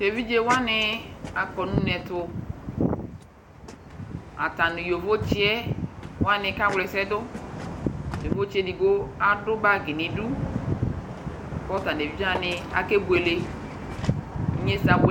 tɛ vidzɛ wani akɔ nʋ ʋnɛtɛ atani nʋ yooɣo tsiɛ wani ka wrɛsɛ dʋ yooɣo tsiɛ adu bagi nʋ idʋ kʋ atanʋ ɛvidzɛ wani akɛbuɛlɛ inyɛsɛ abuɛ